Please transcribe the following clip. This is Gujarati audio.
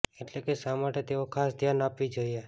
એટલે કે શા માટે તેઓ ખાસ ધ્યાન આપવી જોઈએ